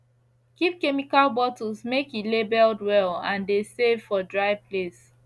keep chemical bottles make e labeled well and de save for dry place